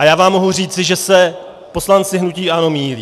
A já vám mohu říci, že se poslanci hnutí ANO mýlí.